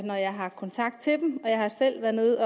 når jeg har kontakt til dem jeg har selv været